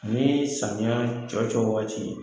Nii samiya cɔcɔ wagati